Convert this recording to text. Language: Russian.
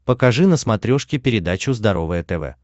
покажи на смотрешке передачу здоровое тв